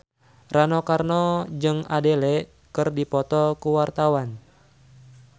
Rano Karno jeung Adele keur dipoto ku wartawan